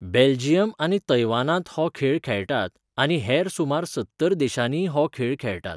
Belgium आनी तैवानांत हो खेळ खेळटात, आनी हेर सुमार सत्तर देशांनीय हो खेळ खेळटात.